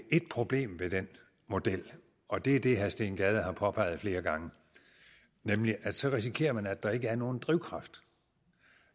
ét problem ved den model og det er det herre steen gade har påpeget flere gange nemlig at man så risikerer at der ikke er nogen drivkraft